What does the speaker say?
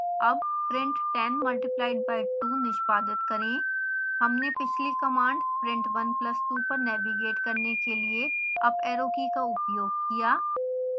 अब print 10 multiplied by 2 निष्पादित करें